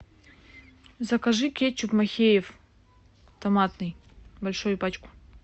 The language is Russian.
закажи кетчуп махеев томатный большую пачку